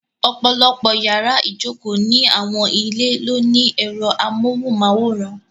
Ọ̀pọ̀lọ́pọ̀ yàrá ìjokòó ni àwọn ilé ló ní ẹ̀rọ amóhùnmáwòrán.